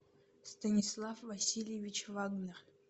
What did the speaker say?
станислав васильевич вагнер